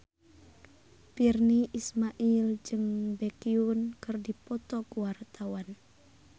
Virnie Ismail jeung Baekhyun keur dipoto ku wartawan